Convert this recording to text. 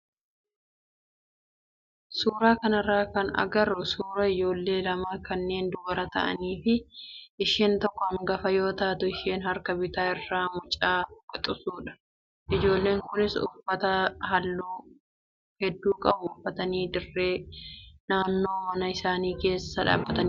Suuraa kanarraa kan agarru suuraa ijoollee lamaa kanneen dubara ta'anii fi isheen tokko hangafa yoo taatu isheen harka bitaa irraa mucaa quxisuudha. Ijoolleen kunis uffata halluu hedduu qabu uffatanii dirree naannoo mana isaanii keessa dhaabbataniiru.